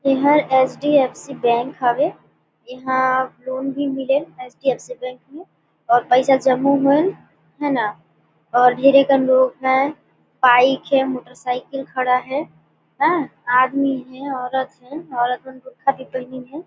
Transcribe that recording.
एहर H _D_ F C bank हावे इहा लोन भी मिले एच _डी_एफ_सी बैंक में और पैसा जमा होयल है न और लोग हे बाइक हे मोटर साइकिल खड़ा हे आदमी हे औरत हे औरत मन बुर्खा भी पहनीन हे।